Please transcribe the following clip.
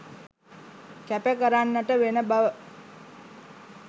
කැප කරන්නට වෙන බව